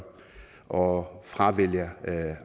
og fravælger